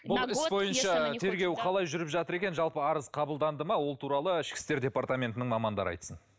бұл іс бойынша тергеу қалай жүріп жатыр екен жалпы арыз қабылданды ма ол туралы ішкі істер департаментінің мамандары айтсын